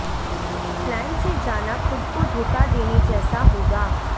plane से जाना खुद को धोखा देने जैसा होगा